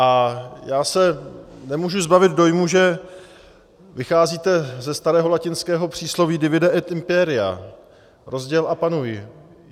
A já se nemůžu zbavit dojmu, že vycházíte ze starého latinského přísloví divide et imperia, rozděl a panuj.